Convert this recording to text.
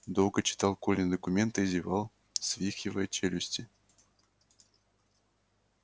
долго читал колины документы зевал свихивая челюсти